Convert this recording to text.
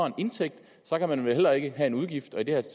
en indtægt så kan man vel heller ikke have en udgift og i det